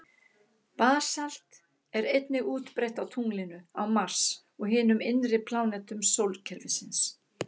Basalt er einnig útbreitt á tunglinu, á Mars og hinum innri plánetum sólkerfisins.